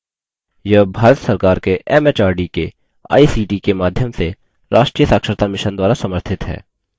यह भारत सरकार के एमएचआरडी के आईसीटी के माध्यम से राष्ट्रीय साक्षरता mission द्वारा समर्थित है